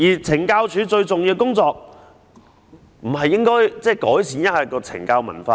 懲教署最重要的工作不是改善懲教文化嗎？